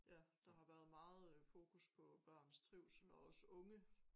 Ja der har været meget fokus på børns trivsel og også unge